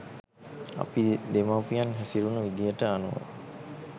අපේ දෙමව්පියන් හැසුරුණු විදිහට අනුව